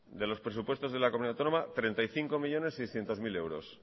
de los presupuestos de la comunidad autónoma treinta y cinco millónes seiscientos mil euros